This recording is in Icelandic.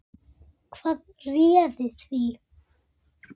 Hvað réði því?